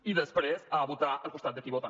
i després a votar al costat de qui vota